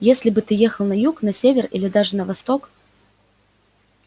если бы ты ехал на юг на север или даже на восток